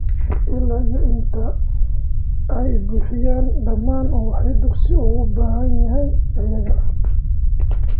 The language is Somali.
Ilaa iyo inta ay buuxiyeen dhammaan waxa dugsigu uga baahan yahay iyaga.